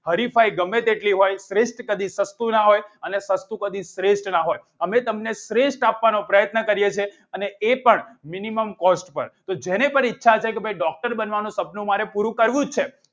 હરીફાઈ ગમે તેટલી હોય શ્રેષ્ઠ કદી સસ્તું ના હોય અને સસ્તુ કદી શ્રેષ્ઠ ના હોય અમે તમને શ્રેષ્ઠ આપવાનો પ્રયત્ન કરીએ છીએ અને એ પ minimum cost પર કે જેને પણ ઈચ્છા છે કે doctor બનવાનું સપનું મારે પૂરું કરવું જ છે.